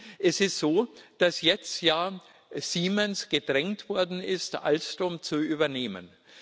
Es ist so, dass jetzt ja Siemens gedrängt worden ist, Alstom zu übernehmen.